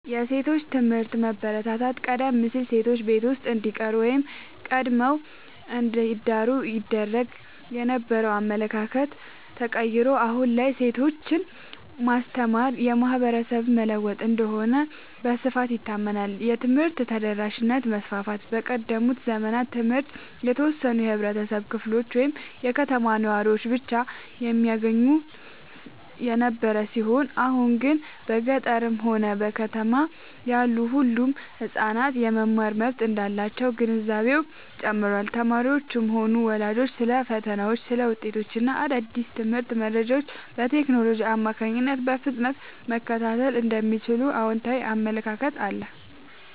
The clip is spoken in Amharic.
የሴቶች ትምህርት መበረታታት፦ ቀደም ሲል ሴቶች ቤት ውስጥ እንዲቀሩ ወይም ቀድመው እንዲዳሩ ይደረግ የነበረው አመለካከት ተቀይሮ፣ አሁን ላይ ሴቶችን ማስተማር ማህበረሰብን መለወጥ እንደሆነ በስፋት ይታመናል። የትምህርት ተደራሽነት መስፋፋት፦ በቀደሙት ዘመናት ትምህርት የተወሰኑ የህብረተሰብ ክፍሎች ወይም የከተማ ነዋሪዎች ብቻ የሚያገኙት የነበረ ሲሆን፣ አሁን ግን በገጠርም ሆነ በከተማ ያሉ ሁሉም ህጻናት የመማር መብት እንዳላቸው ግንዛቤው ጨምሯል። ተማሪዎችም ሆኑ ወላጆች ስለ ፈተናዎች፣ ውጤቶች እና አዳዲስ የትምህርት መረጃዎች በቴክኖሎጂ አማካኝነት በፍጥነት መከታተል እንደሚችሉ አዎንታዊ አመለካከት አለ።